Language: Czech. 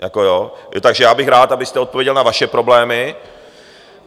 Takže já bych rád, abyste odpověděl na vaše problémy.